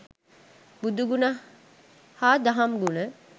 බුදුගුණ හා දහම් ගුණ